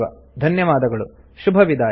ಧನ್ಯವಾದಗಳು ಶುಭವಿದಾಯ